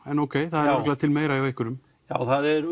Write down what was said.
það er örugglega til meira hjá einhverjum já það er